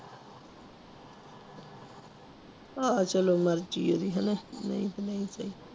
ਆਹ ਚਲੋ ਨਹੀਂ ਤੇ ਨਹੀਂ ਸਹੀ